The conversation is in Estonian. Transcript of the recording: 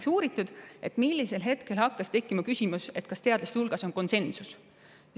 On uuritud ka seda, millisel hetkel hakkas tekkima küsimus, kas teadlaste hulgas on konsensus.